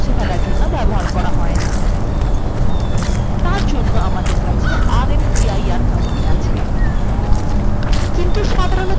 সাধারণতঃ rm command directories মুছে ফেলার জন্য ব্যবহার করা হয় না তার জন্য আমাদের কাছে rmdir command আছে